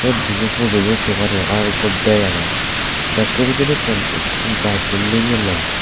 dibey pujoyo se pari ar ekko bag agey bekko bidirettun ekko gaj nigille.